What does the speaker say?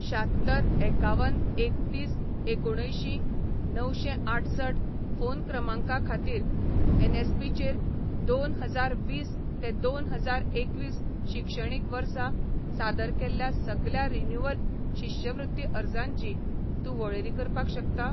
शात्तर एकावन एकतीस एकुणअंयशीं णवशेंआठसठ फोन क्रमांका खातीर एनएसपीचेर दोन हजार वीस ते दोन हजार एकवीस शिक्षणीक वर्सा सादर केल्ल्या सगल्या रिन्यूवल शिश्यवृत्ती अर्जांची तूं वळेरी करपाक शकता?